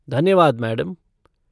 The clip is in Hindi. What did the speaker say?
धन्यवाद मैडम।